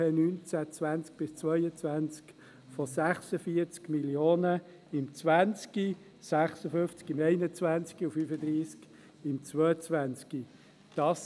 2019/20–22 um 46 Mio. Franken im 2020, um 56 Mio. Franken im 2021 und um 35 Mio. Franken im 2022.